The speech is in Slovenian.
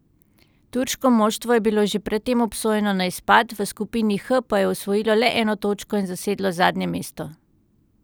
Turško moštvo je bilo že pred tem obsojeno na izpad, v skupini H pa je osvojilo le eno točko in zasedlo zadnje mesto.